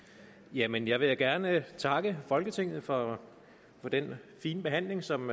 jamen jeg vil da gerne takke folketinget for den fine behandling som